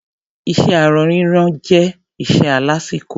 Iṣé aṣọ rírán jẹ́ iṣẹ́ alásìkò.